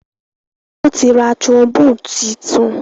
Wón tí rá trombone títun.